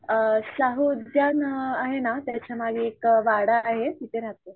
शाहू उद्यान आहे ना त्याच्या मागे एक वाडा आहे तिथे राहते.